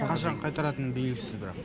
қашан қайтаратыны белгісіз бірақ